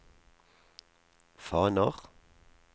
faner